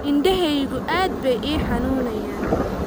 Indhahaygu aad bay ii xanuunayaan